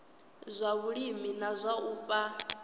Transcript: zwa vhulimi na u fha